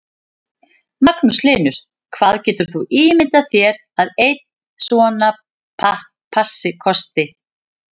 Magnús Hlynur: Hvað getur þú ímyndað þér að einn svona passi kosti?